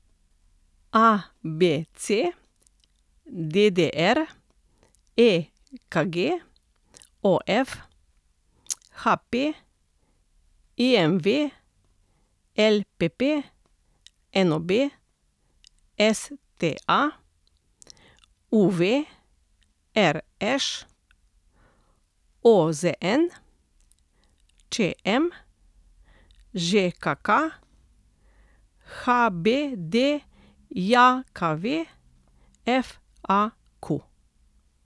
ABC, DDR, EKG, OF, HP, IMV, LPP, NOB, STA, UV, RŠ, OZN, ČM, ŽKK, HBDJKV, FAQ.